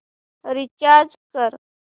recharge कर